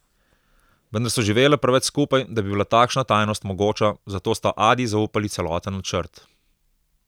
Vendar so živele preveč skupaj, da bi bila takšna tajnost mogoča, zato sta Adi zaupali celoten načrt.